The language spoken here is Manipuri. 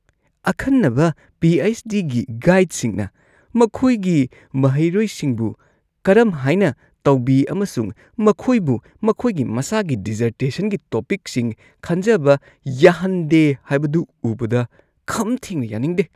ꯑꯈꯟꯅꯕ ꯄꯤ. ꯑꯩꯆ. ꯗꯤ. ꯒꯤ ꯒꯥꯏꯗꯁꯤꯡꯅ ꯃꯈꯣꯏꯒꯤ ꯃꯍꯩꯔꯣꯏꯁꯤꯡꯕꯨ ꯀꯔꯝ ꯍꯥꯏꯅ ꯇꯧꯕꯤ ꯑꯃꯁꯨꯡ ꯃꯈꯣꯏꯕꯨ ꯃꯈꯣꯏꯒꯤ ꯃꯁꯥꯒꯤ ꯗꯤꯖꯔꯇꯦꯁꯟꯒꯤ ꯇꯣꯄꯤꯛꯁꯤꯡ ꯈꯟꯖꯕ ꯌꯥꯍꯟꯗꯦ ꯍꯥꯏꯕꯗꯨ ꯎꯕꯗ ꯈꯝ ꯊꯦꯡꯅ ꯌꯥꯅꯤꯡꯗꯦ꯫